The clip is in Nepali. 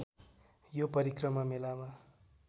यो परिक्रमा मेलामा